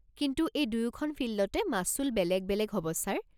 কিন্তু এই দুয়োখন ফিল্ডতে মাচুল বেলেগ বেলেগ হ'ব ছাৰ।